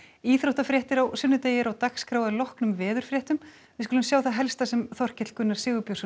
íþróttafréttir á sunnudegi eru á dagskrá að loknum veðurfréttum við skulum sjá það helsta sem Þorkell Gunnar Sigurbjörnsson